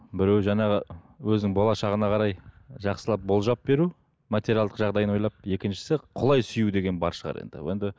біреуі жаңағы өзінің болашағына қарай жақсылап болжап беру материалдық жағдайын ойлап екіншісі құлай сүю деген бар шығар енді енді